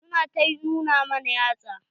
Su na ta nuna mana yatsa.